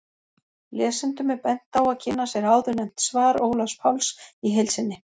Lesendum er bent á að kynna sér áðurnefnt svar Ólafs Páls í heild sinni.